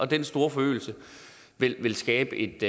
den store forøgelse vil skabe et